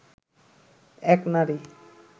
এক নারী